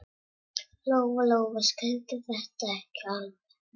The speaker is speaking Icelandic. Lóa-Lóa skildi þetta ekki alveg.